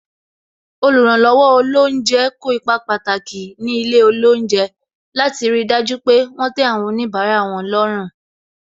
Oluranlowo olounje kó ipa pàtàki ní ilé olounje, láti ri dájú pé wọn tẹ àwọn onibara wọn lọ́rùn.